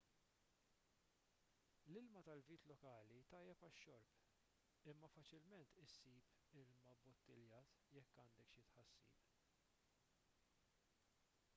l-ilma tal-vit lokali tajjeb għax-xorb imma faċilment issib ilma bbottiljat jekk għandek xi tħassib